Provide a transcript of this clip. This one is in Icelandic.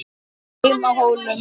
HEIMA Á HÓLUM